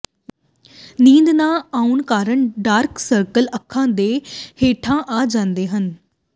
ਨੀਂਦ ਨਾ ਆਉਣ ਕਾਰਨ ਡਾਰਕ ਸਰਕਲ ਅੱਖਾਂ ਦੇ ਹੇਠਾਂ ਆ ਜਾਂਦੇ ਹਨ